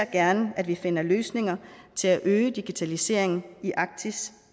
gerne at vi finder løsninger til at øge digitaliseringen i arktis